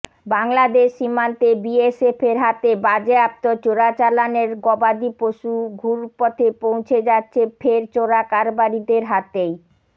বাংলাদেশ সীমান্তে বিএসএফের হাতে বাজেয়াপ্ত চোরাচালানের গবাদি পশু ঘুরপথে পৌঁছে যাচ্ছে ফের চোরাকারবারিদের হাতেই